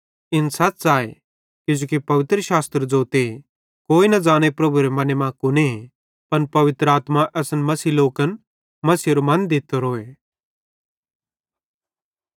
इन सच़ आए किजोकि पवित्रशास्त्र ज़ोते कोई न ज़ाने प्रभुएरे मने मां कुने पन पवित्र आत्मा असन विश्वासी लोकन मसीहेरो मने दित्तोरोए